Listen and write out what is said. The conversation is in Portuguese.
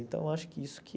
Então, acho que isso que...